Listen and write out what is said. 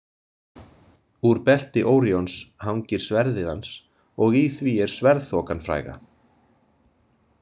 Úr belti Óríons hangir sverðið hans og í því er Sverðþokan fræga.